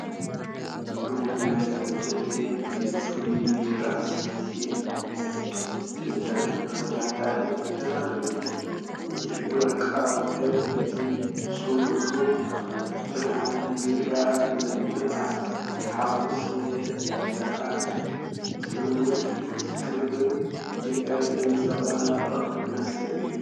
ጥርሙዝ ናይ በደለ ፍሉይ ቢራ ስቴንድ ብተኸታታሊ ተደራሪቡ። እቲ ወርቃዊ ሕብሪን እቲ ጽቡቕ ብርሃን ናይቲ ቢራን ንብዓት ሓጐስ የለዓዕል፤ ትውፊትን ክብርን ኢትዮጵያ ዘንጸባርቕ መስተ እዩ።